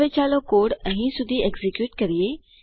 હવે ચાલો કોડ અહીં સુધી એક્ઝીક્યુટ કરીએ